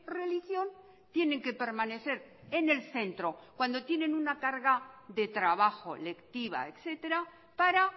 religión tienen que permanecer en el centro cuando tienen una carga de trabajo lectiva etcétera para